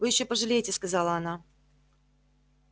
вы ещё пожалеете сказала она